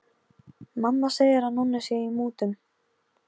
Ég vildi leggja allt í sölurnar fyrir fólkið mitt.